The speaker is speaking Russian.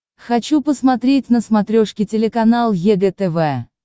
хочу посмотреть на смотрешке телеканал егэ тв